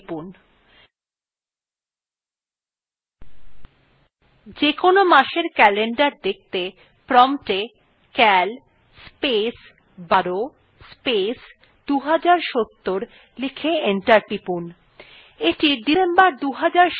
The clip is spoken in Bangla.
যেকোন মাসের calendar দেখতে promptএ cal space ১২ space ২০৭০ লিখে enter টিপুন